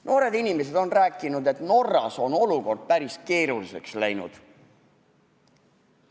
Noored inimesed on rääkinud, et Norras on olukord päris keeruliseks läinud.